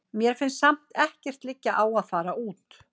Mér finnst samt ekkert liggja á að fara út.